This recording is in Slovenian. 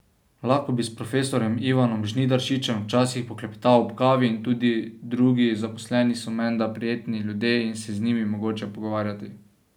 Lahko bi s profesorjem Ivanom Žnidaršičem včasih poklepetal ob kavi in tudi drugi zaposleni so menda prijetni ljudje in se je z njimi mogoče pogovarjati.